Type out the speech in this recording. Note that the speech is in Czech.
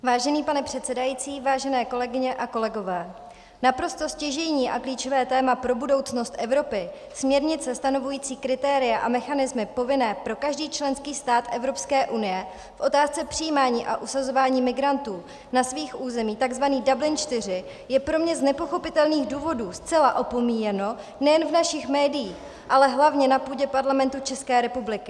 Vážený pane předsedající, vážené kolegyně a kolegové, naprosto stěžejní a klíčové téma pro budoucnost Evropy, směrnice stanovující kritéria a mechanismy povinné pro každý členský stát Evropské unie v otázce přijímání a usazování migrantů na svých územích, tzv. Dublin IV, je pro mě z nepochopitelných důvodů zcela opomíjeno nejen v našich médiích, ale hlavně na půdě Parlamentu České republiky.